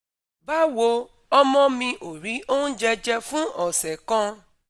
Bawo, omo mi ò rí oúnjẹ jẹ fún ọ̀sẹ̀ kan